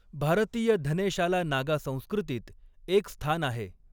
भारतीय धनेशाला नागा संस्कृतीत एक स्थान आहे.